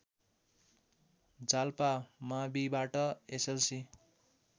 जाल्पा माविबाट एसएलसी